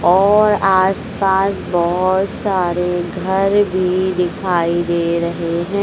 और आसपास बहोत सारे घर भीं दिखाई दे रहें हैं।